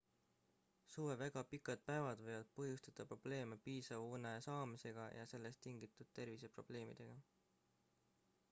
suve väga pikad päevad võivad põhjustada probleeme piisava une saamisega ja sellest tingitud terviseprobleemidega